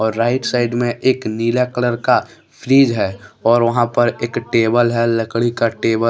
और right side में एक नीला कलर का फ्रिज है और वहां पर एक टेबल है लकड़ी का टेबल --